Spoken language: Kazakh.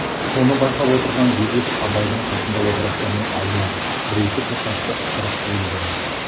соны байқап отырған бегеш абайдың қасында отырып оның алдына бір-екі тоқашты ысырып қойды да